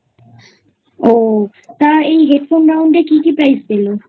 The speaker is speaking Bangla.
ও তা এই Headphone Round একী কী Prize দিল?